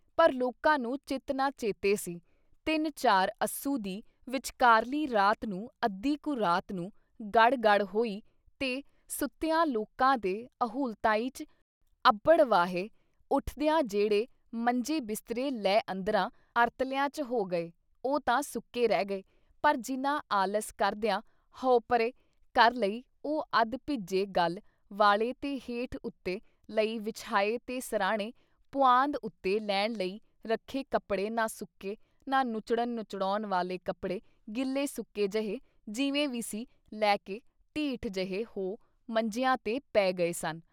ਪਰ ਲੋਕਾਂ ਨੂੰ ਚਿਤ ਨਾ ਚੇਤੇ ਸੀ ਤਿੰਨ ਚਾਰ ਅੱਸੂ ਦੀ ਵਿਚਕਾਰਲੀ ਰਾਤ ਨੂੰ ਅੱਧੀ ਕੁ ਰਾਤ ਨੂੰ ਗੜ੍ਹ-ਗੜ੍ਹ ਹੋਈ ਤੇ ਸੁੱਤਿਆਂ ਲੋਕਾਂ ਦੇ ਅਹੁਲਤਾਈਂ 'ਚ ਅਭੜਵਾਹੇ ਉਠਦਿਆਂ ਜਿਹੜੇ ਮੰਜੇ ਬਿਸਤਰੇ ਲੈ ਅੰਦਰਾਂ ਅਰਤਲਿਆਂ 'ਚ ਹੋ ਗਏ ਉਹ ਤਾਂ ਸੁੱਕੇ ਰਹਿ ਗਏ ਪਰ ਜਿਨ੍ਹਾਂ ਆਲਸ ਕਰਦਿਆਂ "ਹਊ ਪਰੇ " ਕਰ ਲਈ ਉਹ ਅੱਧ ਭਿੱਜੇ ਗਲ ਵਾਲੇ ਤੇ ਹੇਠ ਉੱਤੇ ਲਈ ਵਿਛਾਏ ਤੇ ਸਰ੍ਹਾਣੇ, ਪੁਆਂਦ ਉੱਤੇ ਲੈਣ ਲਈ ਰੱਖੇ ਕੱਪੜੇ ਨਾ ਸੁੱਕੇ, ਨਾ ਨੁੱਚੜਨ ਨਚੋੜਨ ਵਾਲੇ ਕੱਪੜੇ ਗਿੱਲੇ ਸੁੱਕੇ ਜਹੇ ਜਿਵੇਂ ਵੀ ਸੀ ਲੈਕੇ ਢੀਠ ਜਹੇ ਹੋ ਮੰਜਿਆਂ 'ਤੇ ਪੈ ਗਏ ਸਨ।